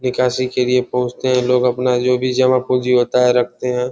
निकासी के लिए पोहोंचते है लोग अपना जो भी जमा-पूंजी होता है रखते है।